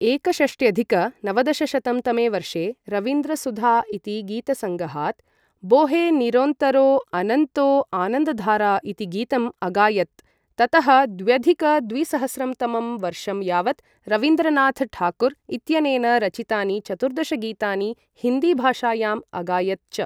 एकषष्ट्यधिक नवदशशतं तमे वर्षे रवीन्द्रसुधा इति गीतसङ्गहात् बोहे निरोन्तरो अनन्तो आनन्दधारा इति गीतम् अगायत्, ततः द्व्यधिक द्विसहस्रं तमं वर्षं यावत् रवीन्द्रनाथ ठाकुर् इत्यनेन रचितानि चतुर्दश गीतानि हिन्दीभाषायाम् अगायत् च।